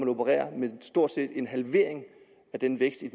opererer med stort set en halvering af den vækst i